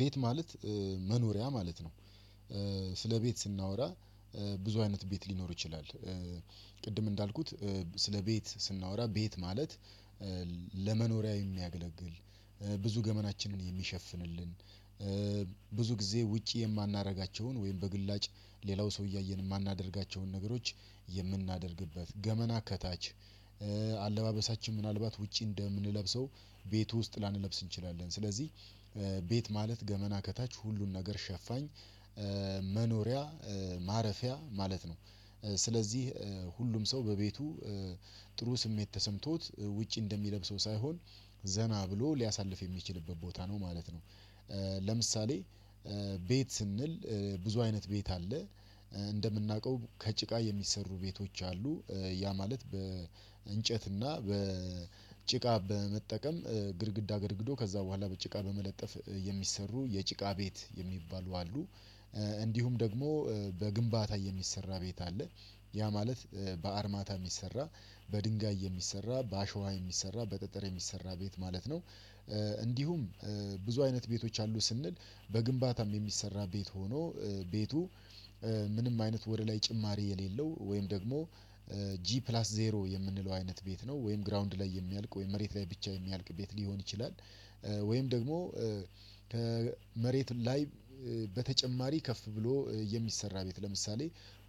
ቤት ማለት መኖሪያ ማለት ነው። ስለ ቤት ስናወራ ብዙ አይነት ቤት ሊኖር ይችላል። ቅድም እንዳልኩት ስለ ቤት ስናወራ ቤት ማለት ለመኖሪያ የሚያገለግል ብዙ ገመናችንን የሚሸፍንልን። ብዙ ጊዜ ውጪ የማናደርጋቸውን ወይም በግላጭ ሌላው ሰው እያየን የማናደርጋቸውን ነገሮች የምናደርግበት ገመና ከታች። አለባበሳችን ምናልባት ውጪ እንደምንለብሰው ቤት ውስጥ ላንለብስ እንችላለን ስለዚህ ቤት ማለት ገመና ከታች ሁሉን ነገር ሸፋኝ። መኖሪያ ማረፊያ ማለት ነው። ስለዚህ ሁሉም ሰው በቤቱ ጥሩ ስሜት ተሰምቶት ውጪ እንደሚለብሰው ሳይሆን ዘና ብሎ ሊያሳልፍ የሚችልበት ቦታ ነው ማለት ነው። ለምሳሌ ቤት ስንል ብዙ አይነት ቤት አለ። እንደምናውቀው ከጭቃ የሚሰሩ ቤቶች አሉ ያ ማለት በእንጨትና በጭቃ በመጠቀም ግድግዳ ገድግዶ ከዛ በኋላ በጭቃ በመለጠፍ የሚሰሩ የጭቃ ቤት የሚባሉ አሉ። እንዲሁም ደግሞ በግንባታ የሚሰራ ቤት አለ ያ ማለት በአርማታ የሚሰራ በድንጋይ የሚሰራ በአሸዋ የሚሰራ በጠጠር የሚሰራ ቤት ማለት ነው። እንዲሁም ብዙ አይነት ቤቶች አሉ ስንል በግንባታም የሚሰራ ቤት ሆኖ ቤቱ ምንም አይነት ወደ ላይ ጭማሪ የሌለው ወይም ደግሞ ጂ ፕላስ ዜሮ የምንለው አይነት ቤት ነው ወይም ግራውንድ ላይ የሚያልቅ ወይም መሬት ላይ ብቻ የሚያልቅበት ሊሆን ይችላል። ወይም ደግሞ መሬት ላይ በተጨማረ ከፍ ብሎ የሚሰራ ቤት ለምሳሌ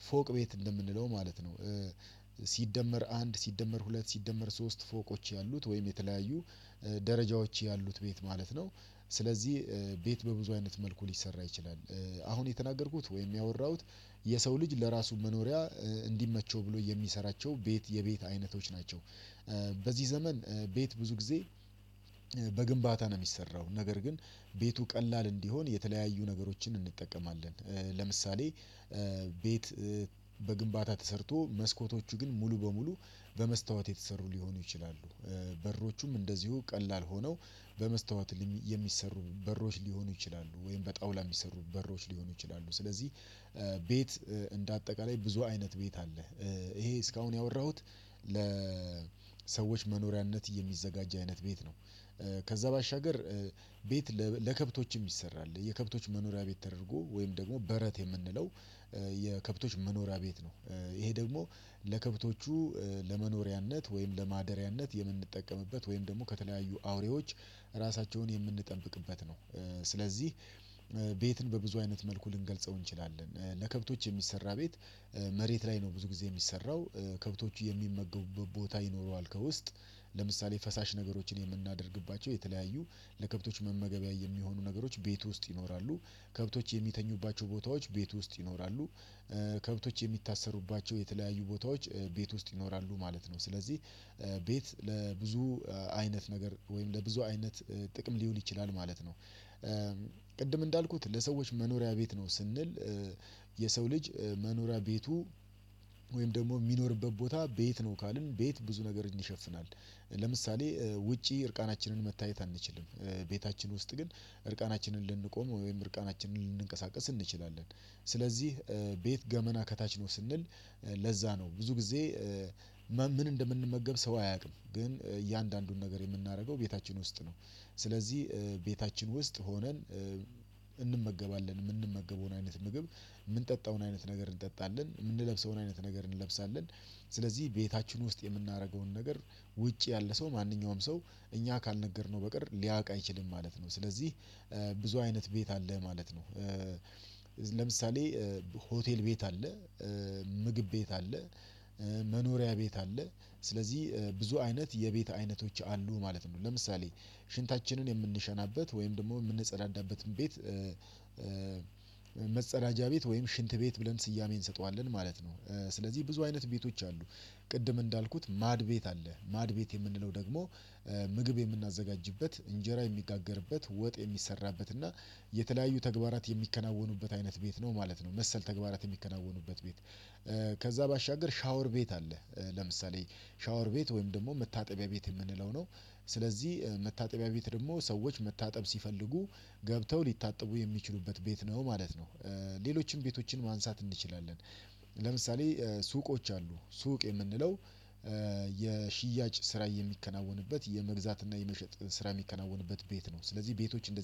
ፎቅ ቤት እንደምንለው ማለት ነው። ሲደመር አንድ ሲደመር ሁለት ሲደመር ሶስት ፎቆች ያሉት ወይም የተለያዩ ደረጃዎች ያሉት ቤት ማለት ነው። ስለዚህ ቤት በብዙ አይነት መልኩ ሊሰራ ይችላል። አሁን የተናገርኩት ወይም ያወራሁት የሰው ልጅ ለራሱ መኖሪያ እንዲመቸው ብሎ የሚሰራቸው ቤት የቤት አይነቶች ናቸው። በዚህ ዘመን ቤት ብዙ ጊዜ በግንባታ ነው የሚሰራው ነገር ግን ቤቱ ቀላል እንዲሆን የተለያዩ ነገሮችን እንጠቀማለን። ለምሳሌ ቤት በግንባታ ተሰርቶ መስኮቶቹ ግን ሙሉ በሙሉ በመስታወት የተሰሩ ሊሆኑ ይችላሉ በሮቹም እንደዚሁ ቀላል ሆነው በመስታወት የሚሰሩ በሮች ሊሆኑ ይችላሉ ወይም በጣውላ የሚሰሩ በሮች ሊሆኑ ይችላሉ። ስለዚህ ቤት እንደ አጠቃላይ ብዙ አይነት ቤት አለ። ይሄ እስካሁን ያወራሁት ለሰዎች መኖሪያነት የሚዘጋጅ አይነት ቤት ነው። ከዛ ባሻገር ቤት ለከብቶችም ይሰራል የከብቶች መኖሪያ ቤት ተደርጎ ወይም ደግሞ በረት የምንለው የከብቶች መኖሪያ ቤት ነው። ይሄ ደግሞ ለከብቶቹ ለመኖሪያነት ወይም ለማደሪያነት የምንጠቀምበት ወይም ደግሞ ከተለያዩ አውሬዎች ራሳቸውን የምንጠብቅበት ነው። ስለዚህ ቤትን በብዙ አይነት መልኩ ልንገልጸው እንችላለን ለከብቶች የሚሰራ ቤት መሬት ላይ ነው ብዙ ጊዜ የሚሰራው ከብቶቹ የሚመገቡበት ቦታ ይኖረዋል። ከውስጥ ለምሳሌ ፈሳሽ ነገሮችን የምናደርግባቸው የተለያዩ ለከብቶች መመገቢያ የሚሆኑ ነገሮች ቤት ውስጥ ይኖራሉ ከብቶች የሚተኙባቸው ቦታዎች ቤት ውስጥ ይኖራሉ። ከብቶች የሚታሰሩባቸው የተለያዩ ቦታዎች ቤት ውስጥ ይኖራሉ ማለት ነው። ስለዚህ ቤት ለብዙ አይነት ነገር ወይም ለብዙ አይነት ጥቅም ሊውል ይችላል ማለት ነው። ቅድም እንዳልኩት ለሰዎች መኖሪያ ቤት ነው ስንል የሰው ልጅ መኖሪያ ቤቱ ወይም ደሞ የሚኖርበት ቦታ ቤት ነው ካልን ቤት ብዙ ነገር ይሸፍናል። ለምሳሌ ውጪ እርቃናችንን መታየት አንችልም ቤታችን ውስጥ ግን እርቃናችንን ልንቆም ወይም እርቃናችንን ልንቀሳቀስ እንችላለን። ስለዚህ ቤት ገመና ከታች ነው ስንል ለዛ ነው ብዙ ጊዜ ምን እንደምንመገብ ሰው አያውቅም ግን እያንዳንዱን ነገር የምናደርገው ቤታችን ውስጥ ነው። ስለዚህ ቤታችን ውስጥ ሆነን እንመገባለን የምንመገበውን አይነት ምግብ የምንጠጣውን አይነት ነገር እንጠጣለን የምንለብሰውን አይነት ነገር እንለብሳለን። ስለዚህ ቤታችን ውስጥ የምናደርገውን ነገር ውጪ ያለ ሰው ማንኛውም ሰው እኛ ካልነገርነው በቀር ሊያውቅ አይችልም ማለት ነው። ስለዚህ ብዙ አይነት ቤት አለ ማለት ነው። ለምሳሌ ሆቴል ቤት አለ ምግብ ቤት አለ መኖሪያ ቤት አለ ስለዚህ ብዙ አይነት የቤት አይነቶች አሉ ማለት ነው። ለምሳሌ ሽንታችንን የምንሸናበት ወይም ደግሞ የምንጸዳዳበትን ቤት መጸዳጃ ቤት ወይም ሽንት ቤት ብለን ስያሜን እንሰጠዋለን ማለት ነው። ስለዚህ ብዙ አይነት ቤቶች አሉ። ቅድም እንዳልኩት ማድ ቤት አለ ማድ ቤት የምንለው ደግሞ ምግብ የምናዘጋጅበት እንጀራ የሚጋገርበት ወጥ የሚሰራበት እና የተለያዩ ተግባራት የሚከናወኑበት አይነት ቤት ነው ማለት ነው። መሰል ተግባራት የሚከናወኑበት ቤት። ከዛ ባሻገር ሻወር ቤት አለ። ለምሳሌ ሻወር ቤት ወይም ደግሞ መታጠቢያ ቤት የምንለው ነው። ስለዚህ መታጠቢያ ቤት ደግሞ ሰዎች መታጠብ ሲፈልጉ ገብተው ሊታጠቡ የሚችሉበት ቤት ነው ማለት ነው። ሌሎችንም ቤቶችን ማንሳት እንችላለን ለምሳሌ ሱቆች አሉ ሱቅ የምንለው የሽያጭ ስራ የሚከናወንበት የመግዛት እና የመሸጥ ስራ የሚከናወንበት ቤት ነው። ስለዚህ ቤቶች እንደዚህ